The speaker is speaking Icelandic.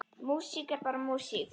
Músík er bara músík.